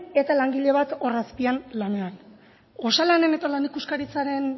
eta langile bat hor azpian lanean osalan eta lan ikuskaritzaren